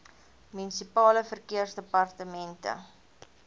munisipale verkeersdepartemente